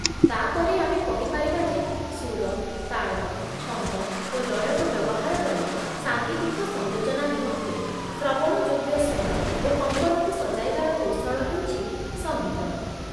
ତା'ପରେ ଆମେ କହିପାରିବା ଯେ ସୁର, ତାଳ, ଛନ୍ଦ, ଓ ଲୟକୁ ବ୍ୟବହାର କରି ସାଙ୍ଗୀତିକ ସଂଯୋଜନା ନିମନ୍ତେ ଶ୍ରବଣଯୋଗ୍ୟ ସ୍ୱର ଓ କମ୍ପନକୁ ସଜାଇବାର କୌଶଳ ହେଉଛି ସଙ୍ଗୀତ